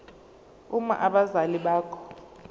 uma abazali bakho